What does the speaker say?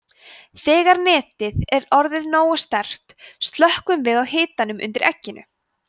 þegar netið er orðið nógu sterkt slökkvum við á hitanum undir egginu